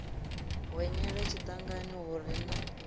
hwenyela tshiṱangani hu re na